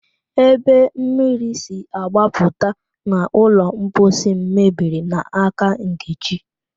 Ebe mmiri si agbapụta n'ụlọ mposi m mebiri n'aka Nkechi